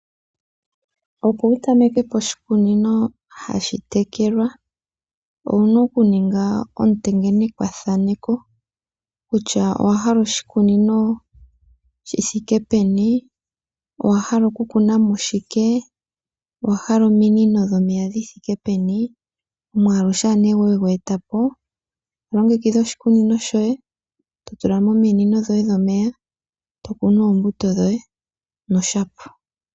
Opo wu tamekepo oshi kunino ha shi tekelwa, owu na oku ninga ontengenekwa thaneko kutya owa hala oshikunino shi thike peni, owa hala oku kunamo shike, owa hala ominino dhomeya dhi thike peni, omwaalu sha ne we gu etapo, to longekidha oshi kunino shoye, to tulamo ominino dhomeya, to kunu oombuto dhoye no shapwa.